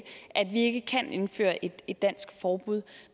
at vi ikke kan indføre et et dansk forbud